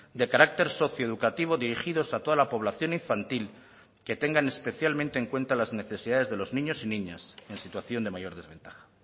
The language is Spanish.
de carácter socioeducativo dirigidos a toda la población infantil que tengan especialmente en cuenta las necesidades de los niños y niñas en situación de mayor desventaja